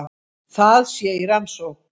Það sé í rannsókn